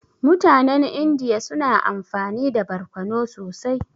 Mutanen Indiya suna amfani da barkono sosai.